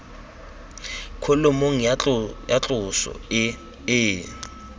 kholomong ya tloso e e